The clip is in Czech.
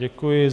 Děkuji.